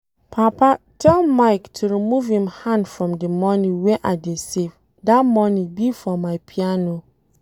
Papa tell Mike to remove im hand from the money wey I dey save, dat money be for my piano